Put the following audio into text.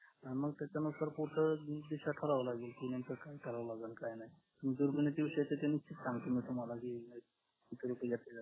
आणि मग त्याच्यानुसार करावा लागेल की नंतर काय करावे लागेल काय नाय सांगतील मग तुम्हाला